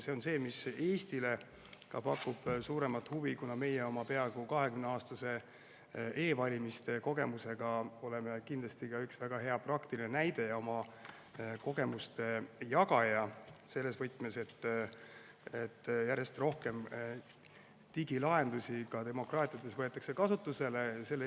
See on see, mis ka Eestile pakub suuremat huvi, kuna meie oma peaaegu 20‑aastase e‑valimiste kogemusega oleme kindlasti üks väga hea praktiline näide ja oma kogemuste jagaja selles võtmes, et järjest rohkem võetaks digilahendusi kasutusele ka demokraatiates.